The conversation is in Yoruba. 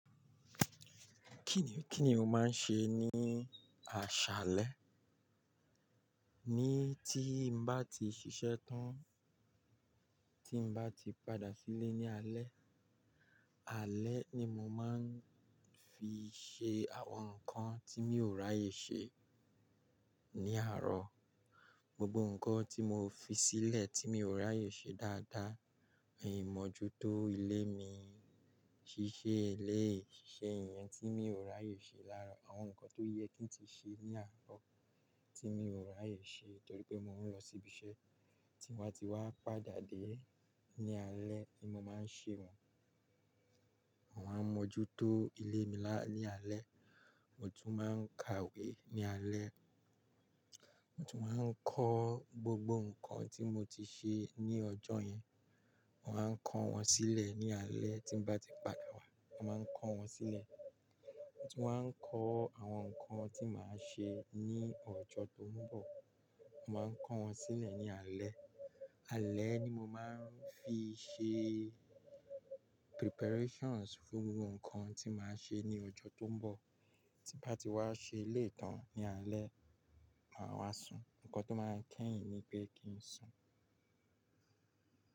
Kí ni, kí ni o máa ń ṣe ní aṣálẹ́? Ní tí n bá ti ṣiṣẹ́ tán, tí n bá ti padà sílé ní alẹ́, alẹ́ ni mo máa ń fi ṣe àwọn nǹkan tí mi ò ráyè ṣe ní àárọ̀. Gbogbo nǹkan tí mo fi sílẹ̀ tí mi ò ráyè ṣe dáadáa, ìmojútó ilé mi, ṣiṣẹ́ eléyi, ṣiṣẹ́ iyẹn tí mi ò ráyè ṣe láàárọ̀, àwọn nǹkan tó yẹ kí n ti ṣe ní àárọ̀ tí mi ò ráyè ṣe torí pé mò ń lọ síbi iṣẹ́ tí n ba ti wá padà dé ní alẹ́ ni mo máa ń ṣe wọn. Mo máa ń mójútó ilé mi lá ní alẹ́. Mo tún máa ń ka ìwé ní alẹ́. Mo tún máa ń kọ gbogbo nǹkan tí mo ti ṣe ní ọjọ́ yẹn, mo màá ń kọ́ wọn sílẹ̀ ní alẹ́ tí n bá ti padà wá, mo màá ń kọ́ wọn sílẹ̀. Mo tun máa ń kọ́ àwọn nǹkan tí màá ṣe ní ọjọ́ tó ń bọ̀, mo màá ń kọ́ wọn sílẹ̀ ní alẹ́. Alẹ́ ni mo máa ń fi ṣe preparations fún gbogbo nǹkan tí màá ṣe ní ọjọ́ tó ń bọ̀. Tí n bá ti wá ṣe eléyi tàn ní alẹ́, màá wá sùn. Ǹkan tó máa kẹ́yìn ni pé kí n sùn.